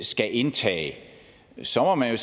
skal indtage så må man